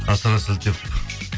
асыра сілтеп